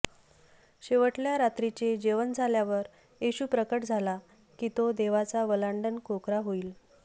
शेवटल्या रात्रीचे जेवण झाल्यावर येशू प्रकट झाला की तो देवाचा वल्हांडण कोकरा होईल